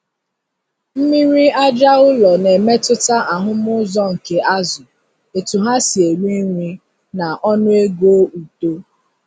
Mmiri aja ụlọ na-emetụta ahụm uzo nke azụ, etu ha si eri nri, na ọnụego uto.